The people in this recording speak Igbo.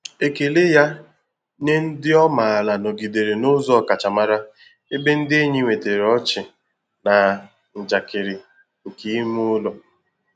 Ekele ya nye ndị ọ maara nọgidere n'ụzọ ọkachamara, ebe ndị enyi nwetara ọchị na njakịrị nke ime ụlọ.